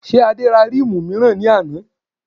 Ṣé Adé ra ríìmù mìíràn lánàá?